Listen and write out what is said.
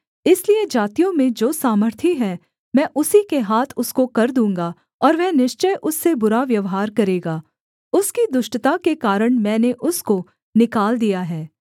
इसलिए जातियों में जो सामर्थी है मैं उसी के हाथ उसको कर दूँगा और वह निश्चय उससे बुरा व्यवहार करेगा उसकी दुष्टता के कारण मैंने उसको निकाल दिया है